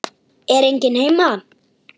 Er enginn heima?